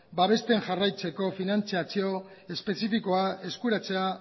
babesten jarraitzeko finantziazio espezifikoa eskuratzea